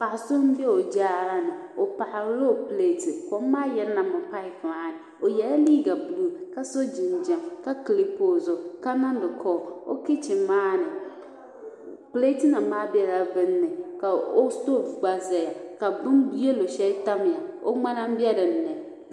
Paɣa so m be o Jaarani o paɣarila o pileti kom maa yirinami papu maani o yela liiga buluu ka so jinjiɛm ka kilipi o zuɣu ka niŋdi kooli kichin maani pileti nima maa bela bini ni ka o sitofu gba zaya ka bini yelo sheli tamya o ŋmana m be dinni.